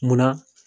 Munna